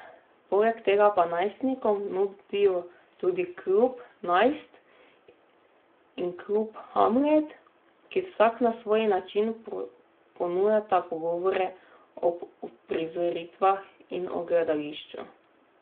Poleg tega pa najstnikom nudijo tudi klub Najst in klub Hamlet, ki vsak na svoj način ponujata pogovore ob uprizoritvah in o gledališču.